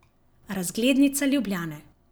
Razglednica Ljubljane.